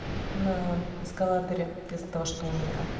на эскалаторе из-за того что у